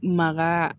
Maka